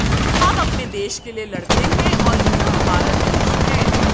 हम अपने देश के लिए लड़ते हैं और यह हमारा देश है